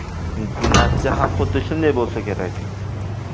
Natija ham xuddi shunday bo‘lsa kerak.